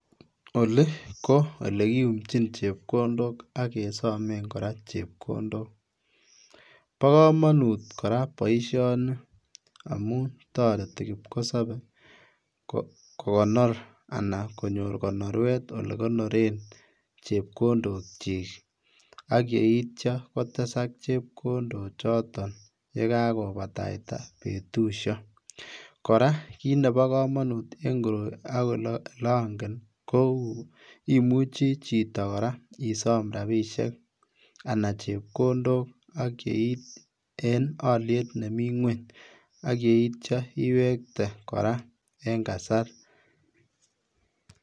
Ole ko ole kiumchin chepkondok ak kesomen koraa chepkondok boo komonut koraa boisioni amu toreti kipkosopee kokonor anan konyor konoruet ole konoren chepkondokyi ak yeitio kotesak chepkondochoton yekakobataita betusio, koraa Kinebo komonut en koroi ak ole ongen kou imuchi chito koraa isom rabisiek anan chepkondok ak keib en oliet nemi ngweny ak yeitio iwekte en kasar .